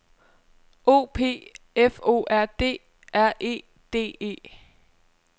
O P F O R D R E D E